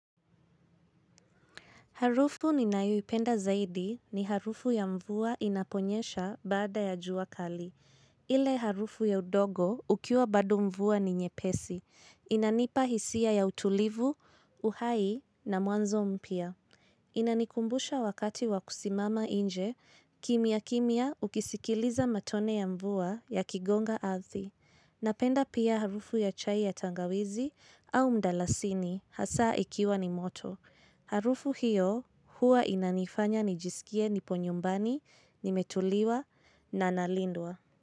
Harufu ninayoipenda zaidi ni harufu ya mvua inaponyesha baada ya jua kali. Ile harufu ya udongo ukiwa bado mvua ni nyepesi. Inanipa hisia ya utulivu, uhai na mwanzo mpya. Inanikumbusha wakati wakusimama nje, kimya kimya ukisikiliza matone ya mvua yakigonga ardhi. Napenda pia harufu ya chai ya tangawizi au mdalasini hasa ikiwa ni moto. Harufu hiyo huwa inanifanya nijisikie nipo nyumbani nimetulia na nalindwa.